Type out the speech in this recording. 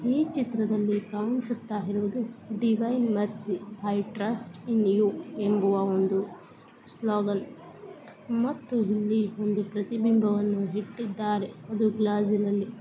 ಈ ಚಿತ್ರದಲ್ಲಿ ಕಾಣಿಸುತ್ತಿರುವುದು divine mercy I trust in you ಅನ್ನೋ ಸ್ಲೋಗೊನ್ ಮತ್ತು ಇಲ್ಲಿ ಒಂದು ಪ್ರತಿಬಿಂಬವನ್ನು ಇಟ್ಟಿದಾರೆ .